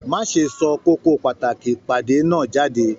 Má ṣe sọ kókó pàtàkì ìpàdé náà jáde!